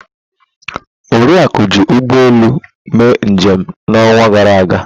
Oriakụ ji ụgbọ elu mee njem n'ọnwa gara aga.